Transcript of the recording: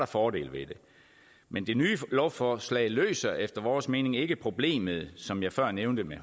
fordele ved det men det nye lovforslag løser efter vores mening ikke problemet som jeg før nævnte med